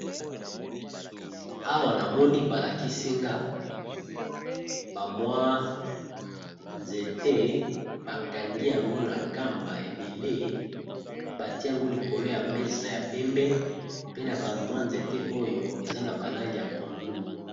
Awa na moni balakisinga bamwa nzete bakangiyango na kamba ebele batiye yango liko na mesa yapembe pe na nzete oyo eza na balangi ya pondu.